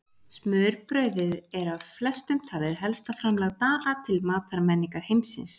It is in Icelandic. Smurbrauðið er af flestum talið helsta framlag Dana til matarmenningar heimsins.